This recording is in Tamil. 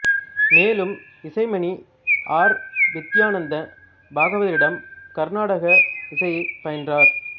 மேலும் இசைமணி ஆர் வித்யானந்த பாகவதரிடம் கருநாடக இசையைப் பயின்றார்